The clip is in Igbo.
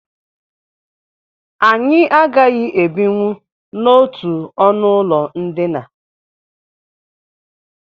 Anyị agaghị ebinwu n'otu ọnụụlọ ndina